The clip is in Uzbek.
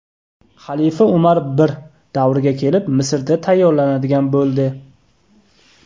Xalifa Umar I davriga kelib, Misrda tayyorlanadigan bo‘ldi.